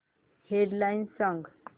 head lines सांग